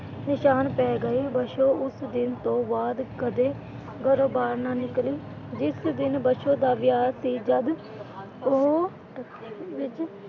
ਨਿਸ਼ਾਨ ਪਏ ਗਏ। ਬਸੋ ਉਸ ਦਿਨ ਤੋਂ ਬਾਅਦ ਘਰੋਂ ਬਾਹਰ ਨਾ ਨਿਕਲੀ। ਜਿਸ ਦਿਨ ਬਸੋ ਦਾ ਵਿਆਹ ਸੀ ਜਦ ਉਹ ਵਿਚ,